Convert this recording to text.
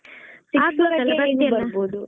ಹಾಗೆ .